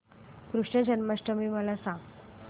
कृष्ण जन्माष्टमी मला सांग